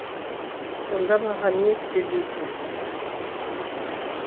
сонда маған не істе дейсің